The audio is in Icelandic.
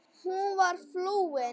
Hún var flúin.